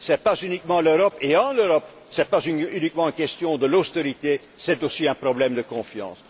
Ce n'est pas uniquement l'Europe et en Europe, ce n'est pas simplement une question d'austérité, c'est aussi un problème de confiance.